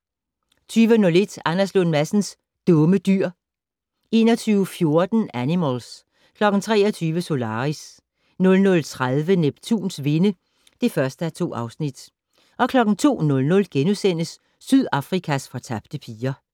20:01: Anders Lund Madsens Dumme Dyr 21:14: Animals 23:00: Solaris 00:30: Neptuns vinde (1:2) 02:00: Sydafrikas fortabte piger *